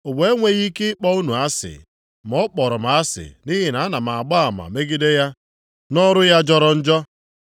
Ụwa enweghị ike ịkpọ unu asị, ma ọ kpọrọ m asị nʼihi na ana m agba ama megide ya nʼọrụ ya jọrọ njọ.